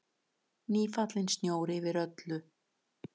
Nýfallinn snjór yfir öllu.